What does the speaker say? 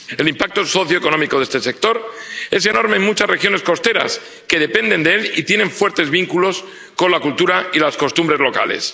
El impacto socioeconómico de este sector es enorme en muchas regiones costeras que dependen de él y tienen fuertes vínculos con la cultura y las costumbres locales.